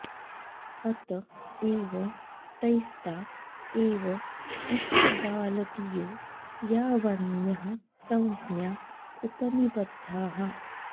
अत एव तैस्ता एव इक्कबालदियो यावन्यः संज्ञा उपनिबद्धाः